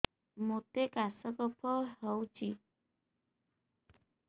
ମୋତେ କାଶ କଫ ହଉଚି